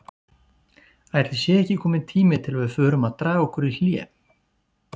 Ætli sé ekki kominn tími til að við förum að draga okkur í hlé?